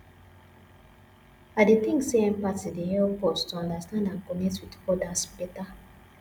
i dey think say empathy dey help us to understand and connect with odas beta